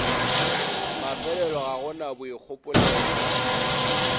mafelelo ga go na boikgopolelo